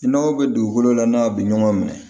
I n'aw bɛ dugukolo la n'a bɛ ɲɔgɔn minɛ